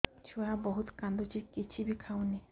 ଛୁଆ ବହୁତ୍ କାନ୍ଦୁଚି କିଛିବି ଖାଉନି